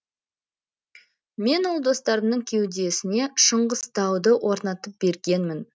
мен ол достарымның кеудесіне шыңғыстауды орнатып бергенмін